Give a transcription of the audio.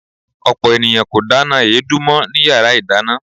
Ọ̀pọ̀ ènìyàn kò dáná èédú mọ́ ní yara ìdáná.